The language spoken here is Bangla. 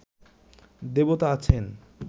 দেবতা আছেন